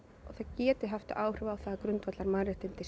það geti haft áhrif á að grundvallar mannréttindi